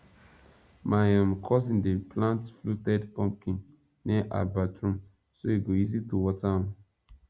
my um cousin dey plant fluted pumpkin near her bathroom so e go easy to water am